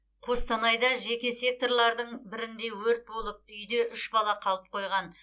қостанайда жеке секторлардың бірінде өрт болып үйде үш бала қалып қойған